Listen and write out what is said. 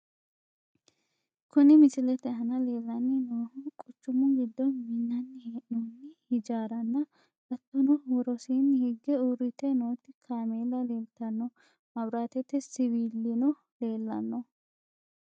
Kuni misilete aana leellanni noohu quchumu giddo minnanni hee'noonni hijaaranna hattono worosiinni higge uurrite nooti kaameella leeltanno, maabiraatete siwilino leellanno.